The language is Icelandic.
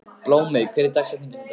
Blómey, hver er dagsetningin í dag?